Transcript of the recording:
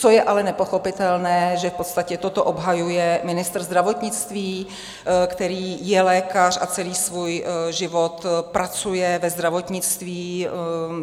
Co je ale nepochopitelné, že v podstatě toto obhajuje ministr zdravotnictví, který je lékař a celý svůj život pracuje ve zdravotnictví.